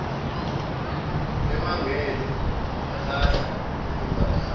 emangele balahla izimbadada